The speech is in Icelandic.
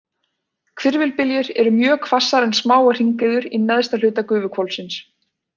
Hvirfilbyljir eru mjög hvassar en smáar hringiður í neðsta hluta gufuhvolfsins.